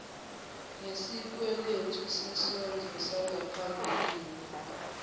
nesikweletu sesondlo sangaphambilini